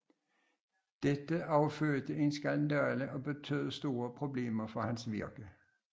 Dette affødte en skandale og betød store problemer for hans virke